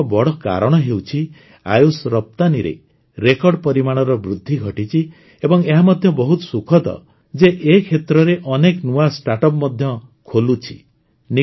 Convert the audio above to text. ଏହାର ଏକ ବଡ଼ କାରଣ ହେଉଛି ଆୟୁଷ ରପ୍ତାନିରେ ରେକର୍ଡ ପରିମାଣର ବୃଦ୍ଧି ଘଟିଛି ଏବଂ ଏହା ମଧ୍ୟ ବହୁତ ସୁଖଦ ଯେ ଏ କ୍ଷେତ୍ରରେ ଅନେକ ନୂଆ ଷ୍ଟାର୍ଟ ଅପ୍ସ ମଧ୍ୟ ଖୋଲୁଛି